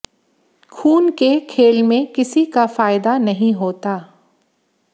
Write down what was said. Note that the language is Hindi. खून के खेल में किसी का फायदा नहीं होता